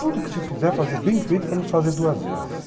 Tudo que se fizer, fazer bem feito para nos fazer duas vezes.